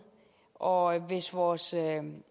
og hvis vores